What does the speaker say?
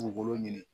Dugukolo ɲini